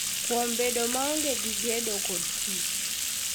Kuom bedo maonge gi gedo kod tich,